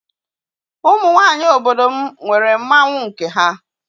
Ụmụ nwaanyị obodo m nwere mmanwụ nke ha.